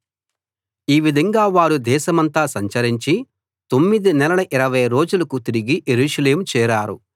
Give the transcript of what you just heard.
ఈ విధంగా వారు దేశమంతా సంచరించి తొమ్మిది నెలల ఇరవై రోజులకు తిరిగి యెరూషలేము చేరారు